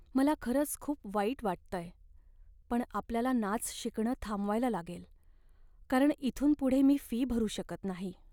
मला खरंच खूप वाईट वाटतंय पण आपल्याला नाच शिकणं थांबवायला लागेल, कारण इथून पुढे मी फी भरू शकत नाही.